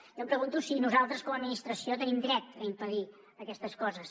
jo em pregunto si nosaltres com a administració tenim dret a impedir aquestes coses